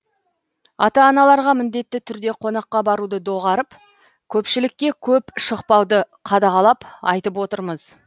ата аналарға міндетті түрде қонаққа баруды доғарып көпшілікке көп шықпауды қадағалап айтып отырмыз